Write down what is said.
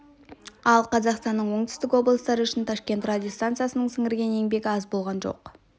ал қазақстанның оңтүстік облыстары үшін ташкент радиостанциясының сіңірген еңбегі аз болған жоқ